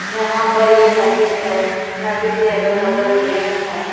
यहां पर ये नदी है नदी के अगल बगल पेड़ हैं।